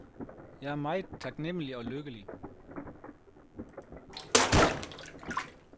Jeg er meget taknemmelig og lykkelig.